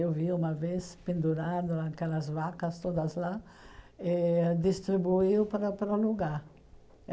Eu vi uma vez, pendurado, aquelas vacas todas lá, e ãh distribuiu para para um lugar.